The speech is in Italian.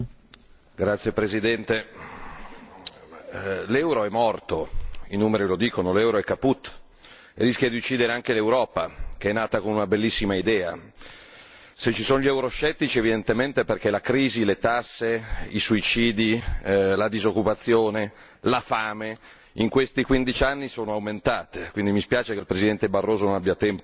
Signor Presidente, onorevoli colleghi, l'euro è morto, i numeri lo dicono, l'euro è rischia di uccidere anche l'Europa che è nata con una bellissima idea! Se ci sono gli euroscettici evidentemente è perché la crisi, le tasse, i suicidi, la disoccupazione, la fame, in questi 15 anni sono aumentate, quindi mi dispiace che il Presidente Barroso non abbia tempo